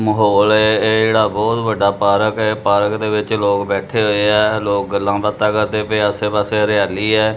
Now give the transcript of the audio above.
ਮਾਹੌਲ ਹੈ ਇਹ ਜਿਹੜਾ ਬਹੁਤ ਵੱਡਾ ਪਾਰਕ ਹੈ ਪਾਰਕ ਦੇ ਵਿੱਚ ਲੋਕ ਬੈਠੇ ਹੋਏ ਆ ਲੋਕ ਗੱਲਾਂ ਬਾਤਾਂ ਕਰਦੇ ਪਏ ਆਸੇ ਪਾਸੇ ਹਰਿਆਲੀ ਐ।